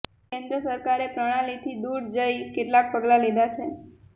કેન્દ્ર સરકારે પ્રણાલીથી દૂર જઈ કેટલાક પગલાં લીધા છે